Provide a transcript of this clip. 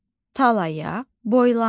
Talaya boylandı.